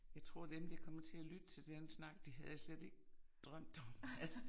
Jeg tror dem der kommer til at lytte til den snak de havde slet ikke drømt om at